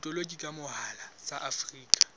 botoloki ka mohala tsa afrika